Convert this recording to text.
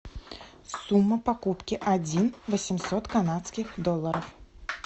сумма покупки один восемьсот канадских долларов